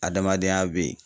Adamadenya bɛ ye.